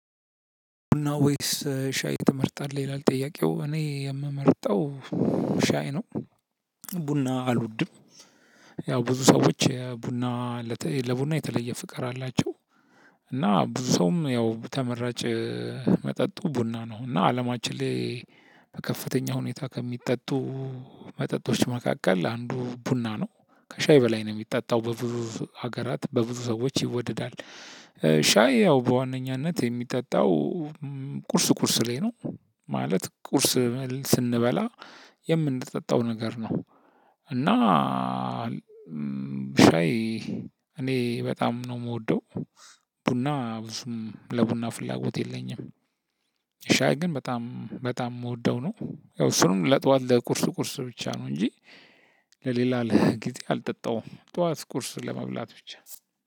ቡና ወይስ ሻይ ትመርጣለህ? ይላል ጥያቄው እኔ የምመርጠው ሻይ ነው። ቡና አልወድም። ያው ብዙ ሰዎች ቡና ለቡና የተለየ ፍቅር አላቸው። እና ብዙ ሰውም ያው ተመራጭ መጠጡ ቡና ነው። እና አለማችን ላይ በከፍተኛ ሁኔታ ከሚጠጡ መጠጦች መካከል አንዱ ቡና ነው። ከሻይ በላይ ነው የሚጠጣው በብዙ ሀገራት በብዙ ሰዎች ይወደዳል። ሻይ ያው በዋነኛነት የሚጠጣው ቁርስ ቁርስ ላይ ነው። ማለት ቁርስ ስንበላ የምንጠጣው ነገር ነው። እና ሻይ እኔ በጣም ነው የምወደው። ቡና ብዙም ለቡና ፍላጎት የለኝም። ሻይ ግን በጣም በጣም የምወደው ነው። ያው እሱንም ለጠዋት ለቁርስ ቁርስ ብቻ ነው እንጂ ለሌላ ጊዜ አልጠጣውም ጠዋት ቁርስ ለመብላት ብቻ